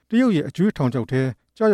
တရုတ်ရဲ့ အကြွေးထောင်ချောက်ထဲ ကျရ